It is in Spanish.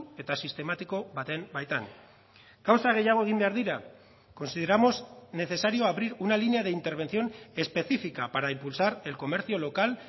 eta sistematiko baten baitan gauza gehiago egin behar dira consideramos necesario abrir una línea de intervención específica para impulsar el comercio local